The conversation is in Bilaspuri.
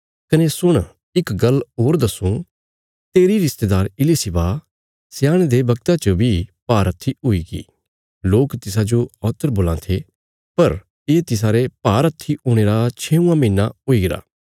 कने सुण इक गल्ल होर दस्सूं तेरी रिश्तेदार इलिशिबा स्याणदे बगता च बी भारहत्थी हुईगी लोक तिसाजो औत्र बोलां थे पर ये तिसारे भारहत्थी हुणे रा छेंऊआं महीना हुईगरा